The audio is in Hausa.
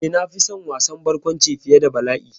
Eh, na fi son wasan barkwanci fiye da bala'i.